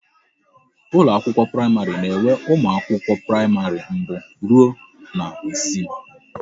Ụlọ akwụkwọ praịmarị na enwe ụmụ akwụkwọ praịmarị mbụ rụọ na isii